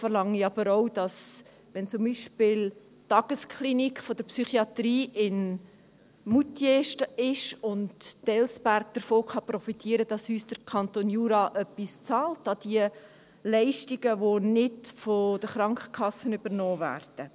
Aber wenn es zum Beispiel die Tagesklinik der Psychiatrie in Moutier ist und Delsberg davon profitieren kann, verlange ich auch, dass uns der Kanton Jura etwas an die Leistungen bezahlt, die nicht von der Krankenkasse übernommen werden.